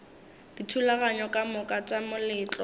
dithulaganyo ka moka tša moletlo